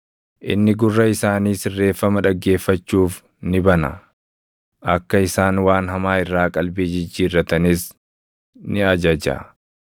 Inni gurra isaanii sirreeffama dhaggeeffachuuf ni bana; akka isaan waan hamaa irraa qalbii jijjiirratanis ni ajaja.